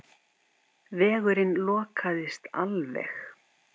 Vegurinn lokaðist alveg.